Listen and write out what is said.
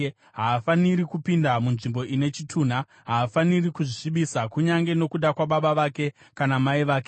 Haafaniri kupinda munzvimbo ine chitunha. Haafaniri kuzvisvibisa kunyange nokuda kwababa vake kana mai vake,